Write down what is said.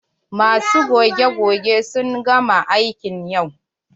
Masu goge-goge sun gama aiki yau.